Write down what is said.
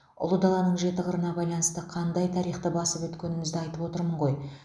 ұлы даланың жеті қырына байланысты қандай тарихты басып өткенімізді айтып отырмын ғой